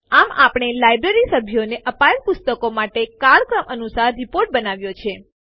આમ આપણે લાઈબ્રેરી સભ્યોને અપાયેલ પુસ્તકો માટે કાળક્રમાનુંસાર રીપોર્ટ બનાવ્યો છે